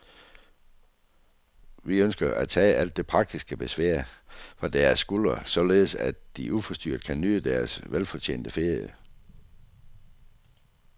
Vi ønsker at tage alt det praktiske besvær fra deres skuldre, således at de uforstyrret kan nyde deres velfortjente ferie.